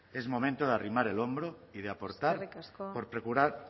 que es momento de arrimar el hombro y de aportar